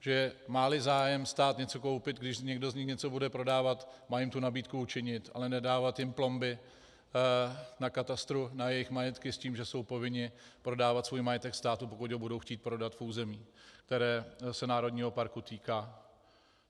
Že má-li zájem stát něco koupit, když někdo z nich něco bude prodávat, má jim tu nabídku učinit, ale nedávat jim plomby na katastru na jejich majetky s tím, že jsou povinni prodávat svůj majetek státu, pokud ho budou chtít prodat v území, které se národního parku týká.